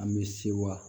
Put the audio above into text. An bɛ se wa